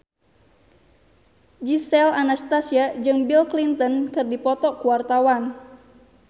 Gisel Anastasia jeung Bill Clinton keur dipoto ku wartawan